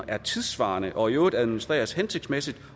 er tidssvarende og i øvrigt administreres hensigtsmæssigt